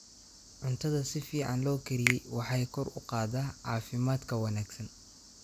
Cuntada si fiican loo kariyey waxay kor u qaadaa caafimaadka wanaagsan.